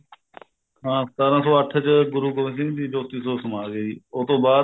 ਹਾਂ ਸਤਾਰਾਂ ਸੋ ਅੱਠ ਚ ਗੁਰੂ ਗੋਬਿੰਦ ਸਿੰਘ ਜੀ ਜੋਤੀ ਜੋਤ ਸਮਾ ਗਏ ਸੀ ਉਸਤੋ ਬਾਅਦ